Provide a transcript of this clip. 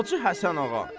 Hacı Həsənağa.